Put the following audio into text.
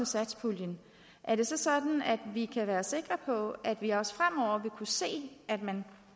satspuljen er det så sådan at vi kan være sikre på at vi også fremover vil kunne se at man